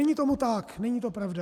Není tomu tak, není to pravda.